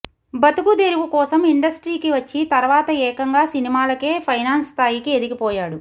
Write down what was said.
బతుకుదెరువు కోసం ఇండస్ట్రీకి వచ్చి తర్వాత ఏకంగా సినిమాలకే ఫైనాన్స్ స్థాయికి ఎదిగిపోయాడు